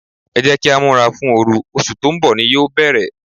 Ẹ jẹ́ kí á múra fún oru, oṣù tó ń bọ̀ ni yóò bere.